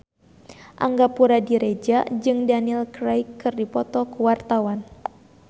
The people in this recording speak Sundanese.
Angga Puradiredja jeung Daniel Craig keur dipoto ku wartawan